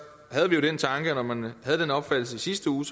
havde vi jo den tanke at når man havde den opfattelse i sidste uge